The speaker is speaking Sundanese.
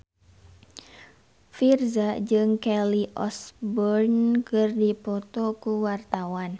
Virzha jeung Kelly Osbourne keur dipoto ku wartawan